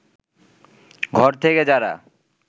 ঘর থেকে যারা